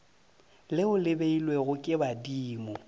leo le beilwego ke badimo